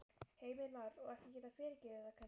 Heimir Már: Og ekki geta fyrirgefið það kannski?